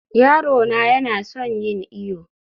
yaro na yana son yin iyo